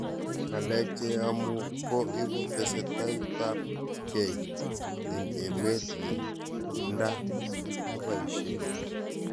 Ngalek che kiamua ko ibu testaitab kei eng' emet ye nda kibaishe